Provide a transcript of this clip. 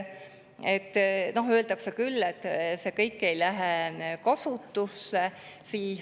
Öeldakse küll, et see kõik ei lähe kasutusse.